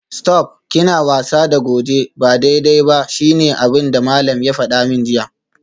Stop!, kina wasa da goje ba daidai ba shine abinda malam ya fada min jiya